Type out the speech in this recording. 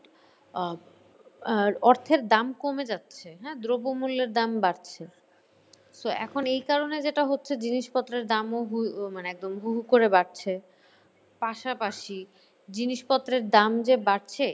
আহ আর অর্থের দাম কমে যাচ্ছে, হ্যাঁ দ্রব্যমূল্যের দাম বাড়ছে। so এখন এই কারণে যেটা হচ্ছে যে জিনিসপত্রের দাম ও মানে একদম হু হু করে বাড়ছে। পাশাপাশি জিনিসপত্রের দাম যে বাড়ছে